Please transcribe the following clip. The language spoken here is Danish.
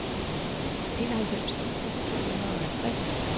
enoghalvfems tusind to hundrede og halvtreds